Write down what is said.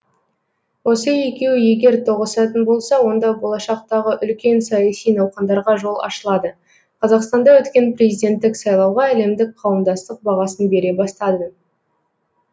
осы екеуі егер тоғысатын болса онда болашақтағы үлкен саяси науқандарға жол ашылады қазақстанда өткен президенттік сайлауға әлемдік қауымдастық бағасын бере бастады